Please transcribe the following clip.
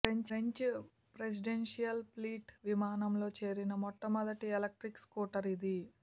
French presidential fleet విమానంలో చేరిన మొట్ట మొదటి ఎలక్ట్రిక్ స్కూటర్ ఇది